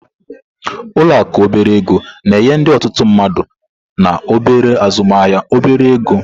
Ụlọ akụ obere ego na-enye ndị otutu mmadu na obere azụmaahịa obere ego.